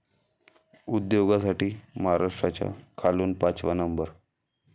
उद्योगासाठी महाराष्ट्राचा खालून पाचवा नंबर!